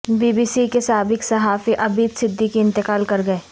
be B C کے سابق صحافی عبید صدیقی انتقال کر گئے